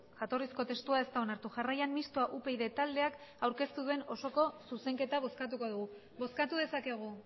jatorrizko testua ez da onartu jarraian mistoa upyd taldeak aurkeztu duen osoko zuzenketa bozkatuko dugu bozkatu dezakegu